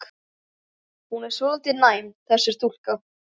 Hún er svolítið næm, þessi stúlka.